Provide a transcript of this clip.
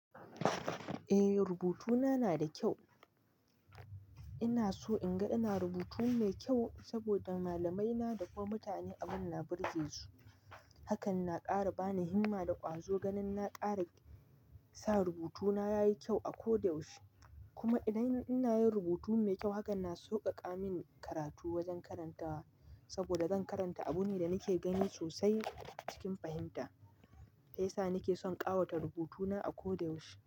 Eh, rubutuna na da kyau. Ina so in ga ina rubutu mai kyau saboda malamaina da kuma mutane abun na birge su. Hakan na ƙara bani himma da ƙwazo ganin na ƙara sa rubutuna yayi kyau a ko da yaushe. Kuma idan ina yin rubutu mai kyau haka na sauƙaƙa min karatu wajen karantawa saboda zan karanta abune da nake gani sosai cikin fahimta. Sai sa nake son ƙawata rubutuna a ko da yaushe.